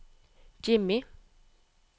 Jimmy